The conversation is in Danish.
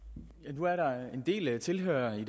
nu er der en del tilhørere